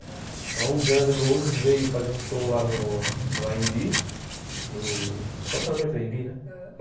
Então o Guns N' Roses veio fazer um show lá no A&B, no estacionamento A&B, né? ãh